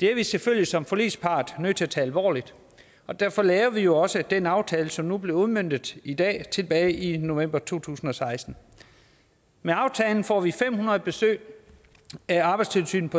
det er vi selvfølgelig som forligspart nødt til at tage alvorligt og derfor lavede vi jo også den aftale som nu bliver udmøntet i dag tilbage i november to tusind og seksten med aftalen får vi fem hundrede besøg af arbejdstilsynet på